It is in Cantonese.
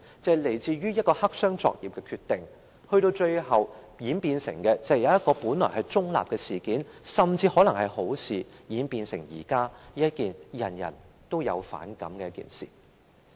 便是來自一個黑箱作業的決定，致令一件本來是中立甚至可能是好的事情，現在卻演變成人人都反感的一件事。